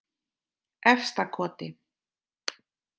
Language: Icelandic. Efstakoti